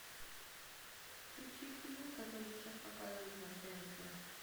включи фильм который сейчас показывают на тнт